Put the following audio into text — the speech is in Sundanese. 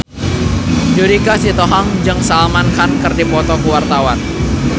Judika Sitohang jeung Salman Khan keur dipoto ku wartawan